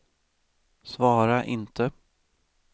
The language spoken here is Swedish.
svara inte